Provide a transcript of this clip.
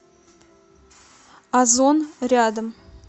озон рядом